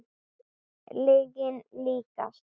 Lyginni líkast.